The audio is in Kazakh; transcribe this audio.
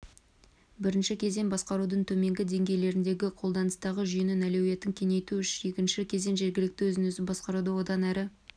бірінші кезең басқарудың төменгі деңгейлеріндегі қолданыстағы жүйенің әлеуетін кеңейту екінші кезең жергілікті өзін-өзі басқаруды одан әрі